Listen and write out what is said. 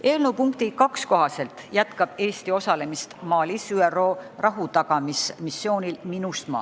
Eelnõu punkti 2 kohaselt jätkab Eesti osalemist Malis ÜRO rahutagamismissioonil MINUSMA.